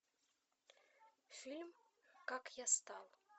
фильм как я стал